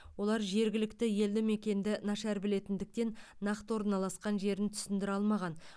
олар жергілікті елді мекенді нашар білгендіктен нақты орналасқан жерін түсіндіре алмаған